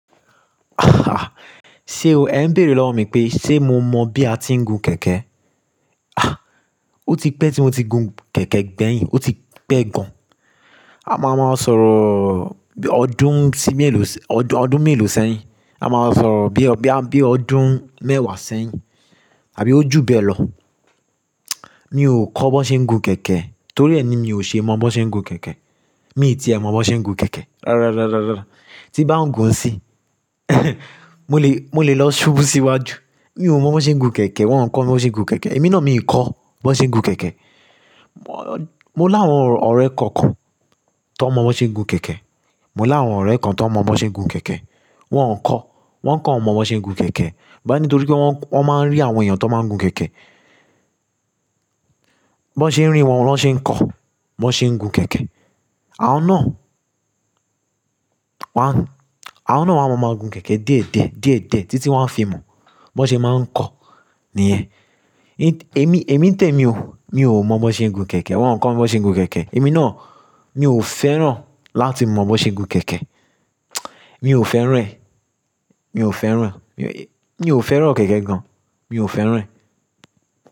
Sé o, ẹ̀ ń béèrè lọ́wọ́ mi pé, ṣe mo mọ̀ bí a ti ń gun kẹ̀kẹ́? Ah! O ti pẹ́ tí mo ti gun kẹ̀kẹ́ gbẹ̀yìn, ó ti pẹ́ gan. A máa máa sọ̀roọ̀ ọdún sí mélòó, ọdún mélòó sẹ́yìn. A máa sọ̀rọ̀ bí i, boya bí i ọdún mẹ́wàá sẹ́yìn àbí o jú bẹ́ẹ̀ lọ. Mi ò kọ́ bon ṣe ń gun kẹ̀kẹ́, torí ẹni mi ò ṣe mọ̀ bon ṣe ń gun kẹ̀kẹ́. Mi tìẹ̀ mọ̀ b'ón ṣe ń gun kẹ̀kẹ́. Rárá, rárá, rárá, rárá. Tí n bá ń gun nsiyin, mo lè, mo lè lọ ṣubú síwájú. Mi ò mọ̀ bó ṣe ń gun kẹ̀kẹ́, wọ́n ń kọ́ mi b'on ṣe ń gun kẹ̀kẹ́. Èmi náà mi kọ́ b'on ṣe ń gun kẹ̀kẹ́. Mo láwọn ọ̀rẹ́ kookan tan mọ̀ bón ṣe ń gun kẹ̀kẹ́. Mo láwọn ọ̀rẹ́ kan tó mọ̀ bó ṣe ń gun kẹ̀kẹ́. Wọn-on kọ́, wọ́n kan mọ̀ b'on ṣe ń gun kẹ̀kẹ́. N bani torí pé wọ́n, wọ́n máa ń rí àwọn èèyàn tó máa ń gun kẹ̀kẹ́. B'ón ṣe ń rí wọn, ni wọ́n ṣe ń kọ̀ b'ón ṣe ń gun kẹ̀kẹ́. Àwọn náà, wọ́n a, àwọn náà máa ma ń gun kẹ̀kẹ́ diẹ̀diẹ́, diẹ̀dẹ́ títí wọ́n fi mọ̀, b'ón ṣe máa ń kọ̀. Nìyẹn. Èmi, èmi n tẹ̀mi ò, mi ò mọ̀ bon ṣe ń gun kẹ̀kẹ́. Wọn kọ́ mi b'ón ṣe ń gun kẹ̀kẹ́. Èmi náà mi ò fẹ́ràn láti mọ̀ b'on ṣe ń gun kẹ̀kẹ́. Mi ò fẹ́ràn ẹ́. Mi ò fẹ́ràn. Mi ò fẹ́ràn kẹ̀kẹ́ gan. Mi ò fẹ́ràn ẹ́.